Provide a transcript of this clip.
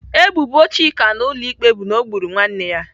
Ebubo Chika na ụlọ ikpe bụ na ọ gburu nwanne ya.